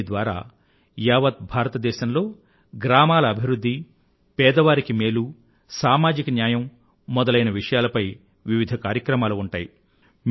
దీని ద్వారా యావత్ భారత దేశంలో గ్రామాల అభివృధ్ధి పేదవారికి మేలు సామాజిక న్యాయం మొదలైన విషయాలపై వివిధ కార్యక్రమాలు ఉంటాయి